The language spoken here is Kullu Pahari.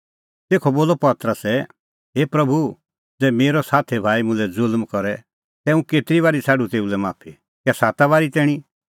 तेखअ बोलअ पतरसै हे प्रभू ज़ै मेरअ साथी भाई मुल्है ज़ुल्म करे तै हुंह केतरी बारी छ़ाडूं तेऊ लै माफी कै साता बारी तैणीं